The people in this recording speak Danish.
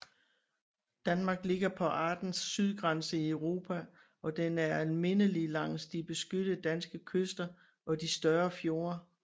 Danmark ligger på artens sydgrænse i Europa og den er almindelig langs de beskyttede danske kyster og de større fjorde